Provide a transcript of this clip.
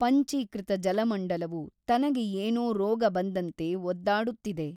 ಪಂಚೀಕೃತ ಜಲಮಂಡಲವು ತನಗೆ ಏನೋ ರೋಗ ಬಂದಂತೆ ಒದ್ದಾಡುತ್ತಿದೆ.